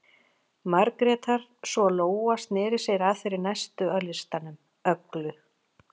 Margrétar, svo Lóa sneri sér að þeirri næstu á listanum, Öglu